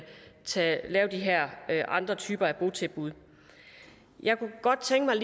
lave de her andre typer af botilbud jeg kunne godt tænke